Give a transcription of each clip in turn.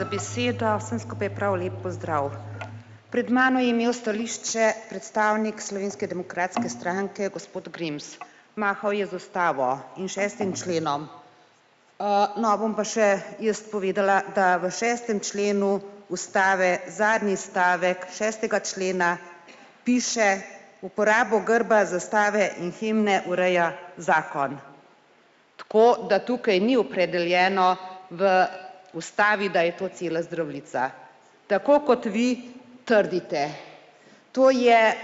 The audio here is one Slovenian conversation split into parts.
Hvala za besedo, vsem skupaj prav lep pozdrav. Pred mano je imel stališče predstavnik Slovenske demokratske stranke, gospod Grims. Mahal je z ustavo in šestim členom. No, bom pa še jaz povedala, da v šestem členu ustave zadnji stavek šestega člena piše uporabo grba, zastave in himne ureja zakon. Tako da tukaj ni opredeljeno v ustavi, da je to cela Zdravljica. Tako kot vi trdite. To je,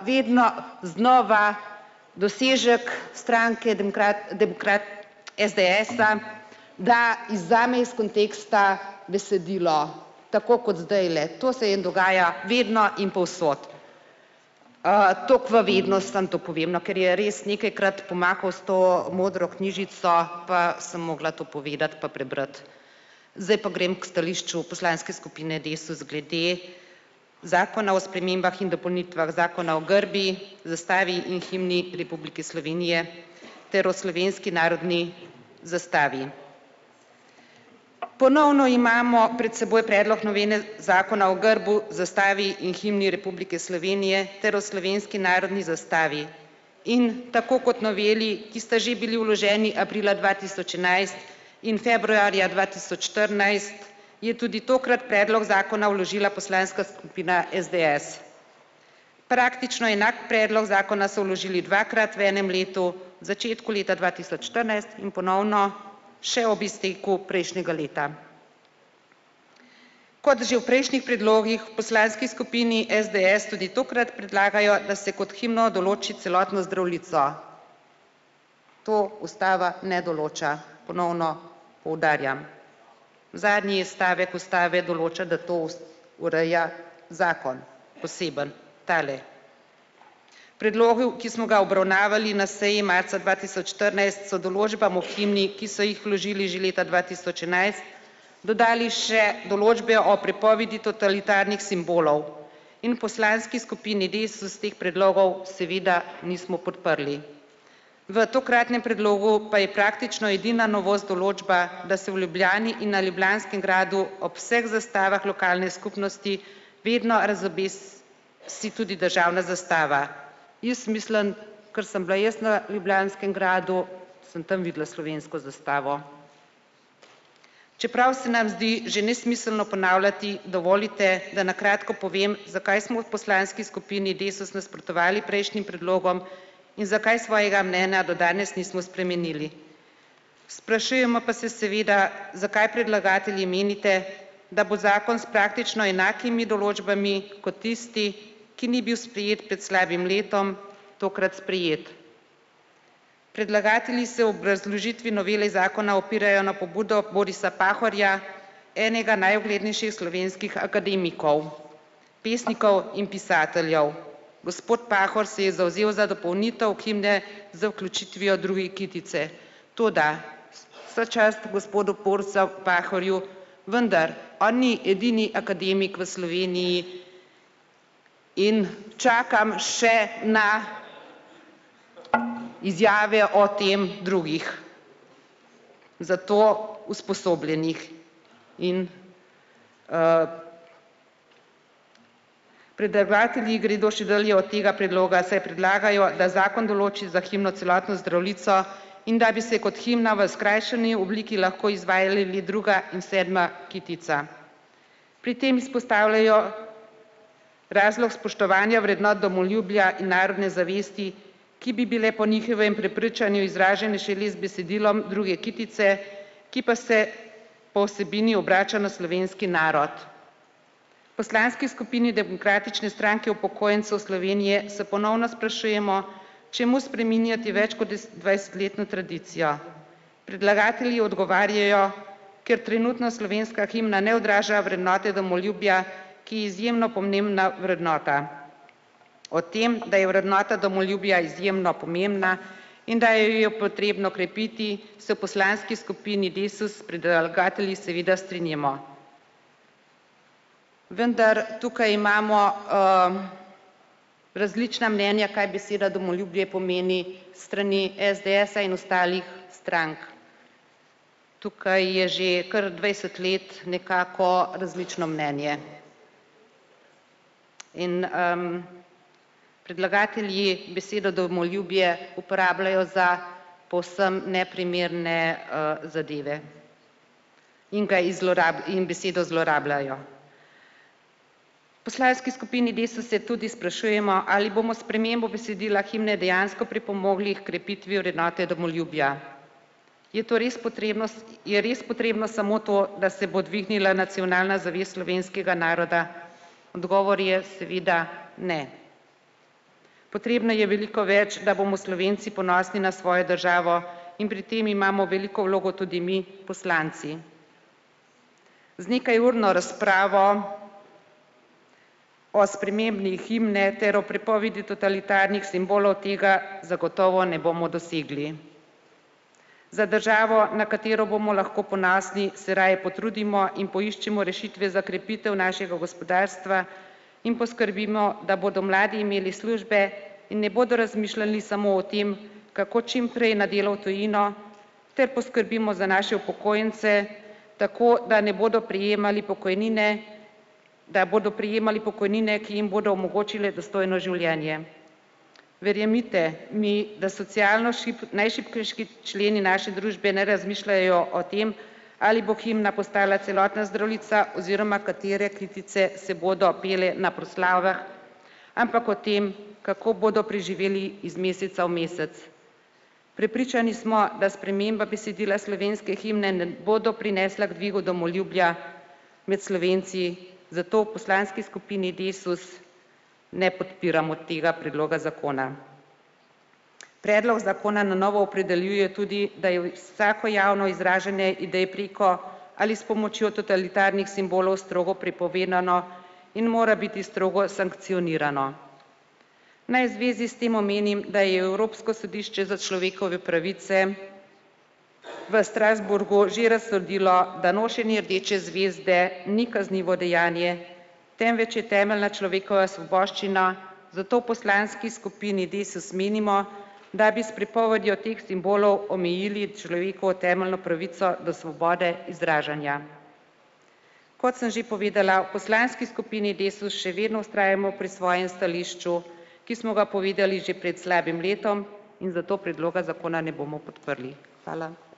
vedno znova dosežek stranke SDS-a, da vzame iz konteksta besedilo tako kot zdajle. To se je dogajalo vedno in povsod. Tako v vednost samo to povem, no, ker je res nekajkrat pomahal s to modro knjižico, pa sem mogla to povedati pa prebrati. Zdaj pa grem k stališču poslanske skupine Desus glede zakona o spremembah in dopolnitvah zakona o grbu, zastavi in himni Republike Slovenije ter o slovenski narodni zastavi. Ponovno imamo pred seboj predlog novele zakona o grbu, zastavi in himni Republike Slovenije ter o slovenski narodni zastavi. In tako kot noveli, ki sta že bili vloženi aprila dva tisoč enajst in februarja dva tisoč štirinajst, je tudi tokrat predlog zakona vložila poslanska skupina SDS. Praktično enak predlog zakona so vložili dvakrat v enem letu, začetku leta dva tisoč štirinajst in ponovno še ob izteku prejšnjega leta. Kot že v prejšnjih predlogih poslanski skupini SDS tudi tokrat predlagajo, da se kot himno določi celotno Zdravljico. To ustava ne določa, ponovno poudarjam. Zadnji stavek ustave določa, da to ureja zakon, poseben tale. Predlogu, ki smo ga obravnavali na seji marca dva tisoč štirinajst, so določbam v himni, ki so jih vložili že leta dva tisoč enajst, dodali še določbe o prepovedi totalitarnih simbolov in poslanski skupini Desus teh predlogov seveda nismo podprli. V tokratnem predlogu pa je praktično edina novost določba, da se v Ljubljani in na Ljubljanskem gradu ob vseh zastavah lokalne skupnosti vedno razobesi tudi državna zastava. Jaz mislim, ker sem bila jaz na Ljubljanskem gradu, sem tam videla slovensko zastavo. Čeprav se nam zdi že nesmiselno ponavljati, dovolite, da na kratko povem, zakaj smo v poslanski skupini Desus nasprotovali prejšnjim predlogom in zakaj svojega mnenja do danes nismo spremenili. Sprašujemo pa se seveda, zakaj predlagatelji menite, da bo zakon s praktično enakimi določbami kot tisti, ki ni bil sprejet pred slabim letom, tokrat sprejet. Predlagatelji se obrazložitvi novele zakona opirajo na pobudo Borisa Pahorja, enega najuglednejših slovenskih akademikov, pesnikov in pisateljev. Gospod Pahor se je zavzel za dopolnitev himne z vključitvijo druge kitice, toda vso čast gospodu Borisu Pahorju, vendar on ni edini akademik v Sloveniji, in čakam še na izjave o tem drugih za to usposobljenih. In, predavatelji gredo še dlje od tega predloga, saj predlagajo, da zakon določi za himno celotno Zdravljico in da bi se kot himna v skrajšani obliki lahko izvali druga in sedma kitica. Pri tem vzpostavljajo razlog spoštovanja vrednot domoljubja, narodne zavesti, ki bi bile po njihovem prepričanju izražene šele z besedilom druge kitice, ki pa se po vsebini obrača na slovenski narod. Poslanski skupini Demokratične stranke upokojencev Slovenije se ponovno sprašujemo, čemu spreminjati več kot dvajsetletno tradicijo. Predlagatelji odgovarjajo: ker trenutna slovenska himna ne odraža vrednote domoljubja, ki je izjemno pomembna vrednota. O tem, da je vrednota domoljubja izjemno pomembna in da je jo potrebno krepiti, se poslanski skupini Desus s predlagatelji strinjamo. Vendar tukaj imamo, različna mnenja, kaj beseda domoljubje pomeni, s strani SDS-a in ostalih strank. Tukaj je že kar dvajset let nekako različno mnenje. In, predlagatelji besedo domoljubje uporabljajo za povsem neprimerne, zadeve. In ga i in besedo zlorabljajo. Poslanski skupini Desus se tudi sprašujemo, ali bomo spremembo besedila himne dejansko pripomogli h krepitvi vrednote domoljubja. Je to res je res potrebno samo to, da se bo dvignila nacionalna zavest slovenskega naroda? Odgovor je seveda: ne. Potrebno je veliko več, da bomo Slovenci ponosni na svojo državo in pri tem imamo veliko vlogo tudi mi poslanci. Z nekajurno razpravo o spremembi himne ter o prepovedi totalitarnih simbolov tega zagotovo ne bomo dosegli. Za državo, na katero bomo lahko ponosni, se raje potrudimo in poiščemo rešitve za krepitev našega gospodarstva in poskrbimo, da bodo mladi imeli službe in ne bodo razmišljali samo o tem, kako čimprej na delo v tujino, ter poskrbimo za naše upokojence tako, da ne bodo prejemali pokojnine, da bodo prejemali pokojnine, ki jim bodo omogočile dostojno življenje. Verjemite mi, da socialno najšibkejši členi naše družbe ne razmišljajo o tem, ali bo himna postala celotna Zdravljica oziroma katere kitice se bodo pele na proslavah, ampak o tem kako bodo preživeli iz meseca v mesec. Prepričani smo, da sprememba besedila slovenske himne ne bodo prinesla k dvigu domoljubja med Slovenci, zato v poslanski skupini Desus ne podpiramo tega predloga zakona. Predlog zakona na novo opredeljuje tudi, da je vsako javno izražanje idej preko ali s pomočjo totalitarnih simbolov strogo prepovedano in mora biti strogo sankcionirano. Naj zvezi s tem omenim, da je Evropsko sodišče za človekove pravice v Strasbourgu že razsodilo, da nošenje rdeče zvezde ni kaznivo dejanje, temveč je temeljna človekova svoboščina, zato v poslanski skupini Desus menimo, da bi s prepovedjo teh simbolov omejili človekovo temeljno pravico do svobode izražanja. Kot sem že povedala, v poslanski skupini Desus še vedno vztrajamo pri svojem stališču, ki smo ga povedali že pred slabim letom, in zato predloga zakona ne bomo podprli. Hvala.